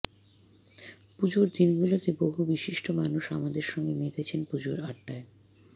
পুজোর দিনগুলোতে বহু বিশিষ্ট মানুষ আমাদের সঙ্গে মেতেছেন পুজোর আড্ডায়